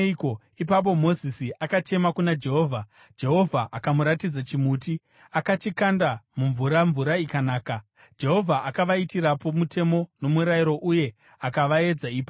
Ipapo Mozisi akachema kuna Jehovha, Jehovha akamuratidza chimuti. Akachikanda mumvura, mvura ikanaka. Jehovha akavaitirapo mutemo nomurayiro, uye akavaedza ipapo.